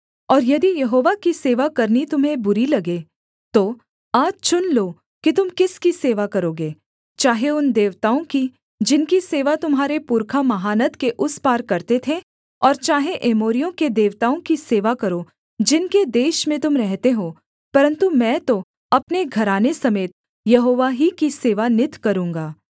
और यदि यहोवा की सेवा करनी तुम्हें बुरी लगे तो आज चुन लो कि तुम किसकी सेवा करोगे चाहे उन देवताओं की जिनकी सेवा तुम्हारे पुरखा महानद के उस पार करते थे और चाहे एमोरियों के देवताओं की सेवा करो जिनके देश में तुम रहते हो परन्तु मैं तो अपने घराने समेत यहोवा ही की सेवा नित करूँगा